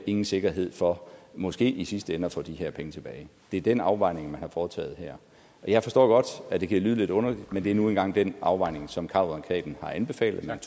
ingen sikkerhed for måske i sidste ende at få de her penge tilbage det er den afvejning man har foretaget her jeg forstår godt at det kan lyde lidt underligt men det er nu engang den afvejning som har kammeradvokaten har anbefalet at man